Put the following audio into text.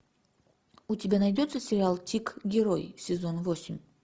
у тебя найдется сериал тик герой сезон восемь